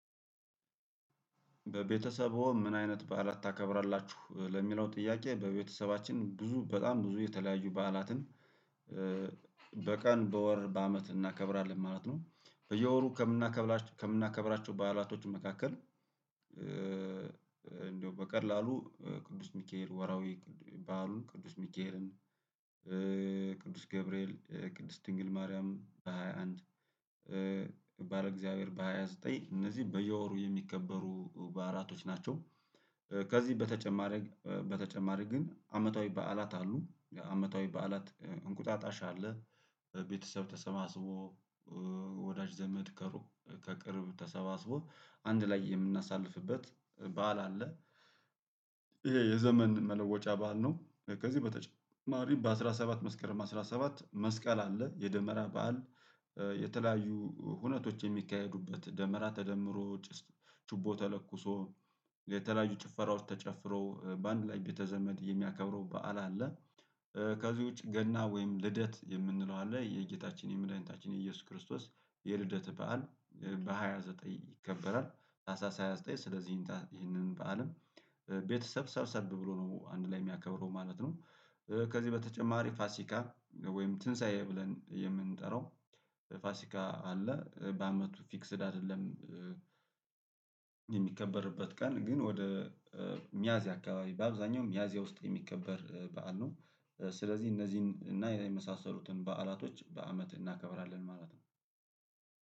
በቤተሰብዎ? ምን አይነት በዓላት ታከብራላችሁ ለሚለው ጥያቄ በቤተሰባችን ብዙ በጣም ብዙ የተለያየ በዓላትን በቀን በወር በአመት እናከብራለን ማለት ነው። በየወሩ ከምናከብራቸው ከምናከብራቸው በዓላቶች መካከል እንደው በቀላሉ ቅዱስ ሚካኤል ወራዊ ባህሉን ቅዱስ ሚካኤልን ቅዱስ ገብርኤል ቅድስት ድንግል ማርያም በሃያ አንድ ባለ እግዚአብሔር በሃያ ዘጠኝ እነዚህ በየወሩ የሚከበሩ በዕላቶች ናቸው። ከዚህ በተጨማሪ በተጨማሪ ግን አመታዊ በዓላት አሉ አመታዊ በዓላት እንቁጣጣሽ አለ ቤተሰብ ተሰባስቦ ወዳጅ ዘመድ ከሩቁ ከቅርብ ተሰባስቦ አንድ ላይ የምናሳልፍበት በዓል አለ። ይሄ የዘመን መለወጫ በዓል ነው ከዚህ በተጨማሪ በአሥራ ሰባት መስከረም አስራ ሰባት መስቀል አለ የደመራ በዓል። የተለያዩ ሁነቶች የሚካሄዱበት ደመራ ተደምሮ ጭስ ችቦ ተለኩሶ የተለያዩ ጭፈራዎች ተጨፍሮ በአንድ ላይ ቤተ ዘመድ የሚያከብረው በዓል አለ። ከዚህ ውጪ ገና ወይም ልደት የምንለው አለ የጌታችን መድኃኒታችን የኢየሱስ ክርስቶስ የልደት በዓል። በሃያ ዘጠኝ ይከበራል ታህሳስ ሳስራ ሃያ ዘጠኝ ስለዚህ ይተ ይከበራልም ቤተሰብ ሰብሰብ ብሎ ነው አንድ ላይ የሚያከብረው ማለት ነው። ከዚህ በተጨማሪ ፋሲካ ወይም ትንሳኤ ብለን የምንጠራው ፋሲካ አለ በአመቱ ፊክስድ አይደለም የሚከበርበት ቀን ግን ወደ ሚያዝያ አካባቢ በአብዛኛው ሚያዝያ ውስጥ ነው የሚከበር በዓል ነው። ስለዚህ እነዚህን እና ያ የመሳሰሉትን በዓላቶች በአመት እናከብራለን ማለት ነው።